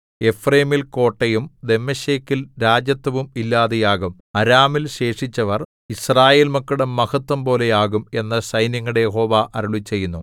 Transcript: എഫ്രയീമിൽ കോട്ടയും ദമ്മേശെക്കിൽ രാജത്വവും ഇല്ലാതെയാകും അരാമിൽ ശേഷിച്ചവർ യിസ്രായേൽ മക്കളുടെ മഹത്ത്വംപോലെയാകും എന്നു സൈന്യങ്ങളുടെ യഹോവ അരുളിച്ചെയ്യുന്നു